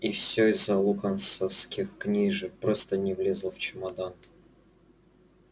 и все из-за локонсовских книжек просто не влезла в чемодан